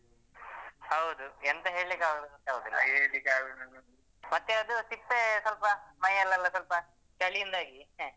ಹೌದು ಎಂತ ಹೇಳಿಕ್ಕೆ ಆಗುದಿಲ್ಲ ಆಗಿದೆ ಮತ್ತೆ ಅದು ಸಿಪ್ಪೆ ಸ್ವಲ್ಪ ಮೈಯಲ್ಲೆಲ್ಲ ಸ್ವಲ್ಪ ಚಳಿಯಿಂದಾಗಿ